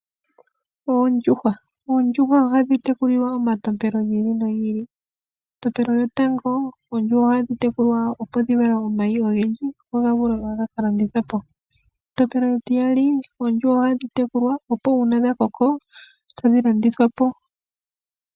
Oondjuhwa Oondjuhwa ohadhi tekulilwa omatompelo gi ili nogi ili. Etompelo lyotango, oondjuhwa ohadhi tekulwa opo dhi vale omayi ogendji ,opo woo ga vule ga ka landithwe po. Etompelo etiyali, oondjuhwa ohadhi tekulwa opo uuna dha koko tadhi landithwa po .